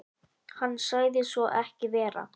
Hann sagði svo ekki vera.